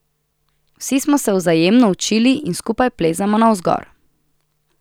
Vsi smo se vzajemno učili in skupaj plezamo navzgor.